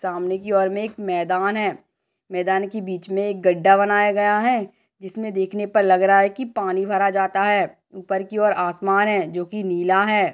सामने की ओर मे एक मैदान है मैदान की बीच मे एक गडा बनाया गया है जिसमें देखने पर लग रहा है कि पानी भरा जाता है ऊपर की और आसमान है जो की नीला है।